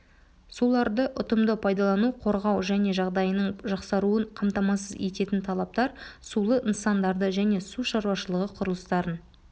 суларды ұтымды пайдалану қорғау және жағдайының жақсаруын қамтамасыз ететін талаптар сулы нысандарды және су шаруашылығы құрылыстарын